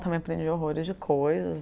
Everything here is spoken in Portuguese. Também aprendi horrores de coisas.